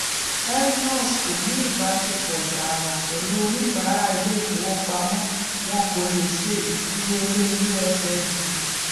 mnos kò ní ìbáṣepọ tààrà pẹlú oníbàárà ilé ìfowópamọ wọn kò le ṣe ìfiyelé ussd